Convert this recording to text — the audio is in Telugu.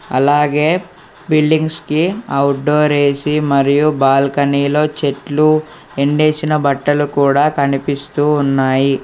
అలాగే బిల్డింగ్స్ కి అవుట్డోర్ ఏసి మరియు బాల్కనీ లో చెట్లు ఎండేసిన బట్టలు కూడా కనిపిస్తూ ఉన్నాయి.